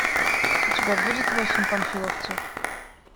у тебя будет восемь панфиловцев